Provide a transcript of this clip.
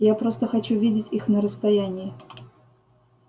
я просто хочу видеть их на расстоянии